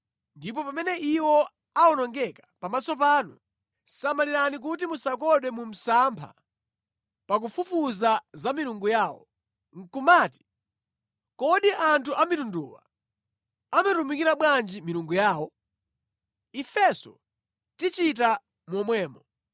ndipo pamene iwo awonongeka pamaso panu, samalirani kuti musakodwe mu msampha pa kufufuza za milungu yawo, nʼkumati, “Kodi anthu a mitunduwa amatumikira bwanji milungu yawo? Ifenso tichita momwemo.”